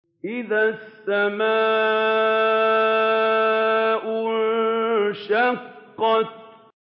إِذَا السَّمَاءُ انشَقَّتْ